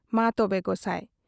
ᱢᱟ ᱛᱚᱵᱮ ᱜᱚᱥᱟᱸᱭ ᱾